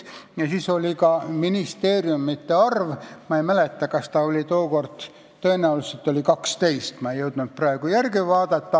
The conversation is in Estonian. Ja otsustati ka ministeeriumide arv, tõenäoliselt see oli siis 12, ma ei jõudnud praegu järele vaadata.